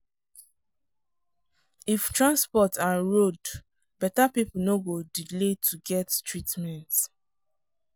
if transport and road beta people no go dey delay to get treatment.